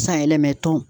Sanyɛlɛma tɔn